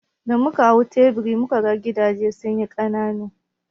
Da muka hau tsibiri, mu ka ga gidaje sun yi ƙanana.